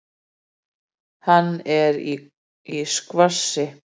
Hann er í skvassi.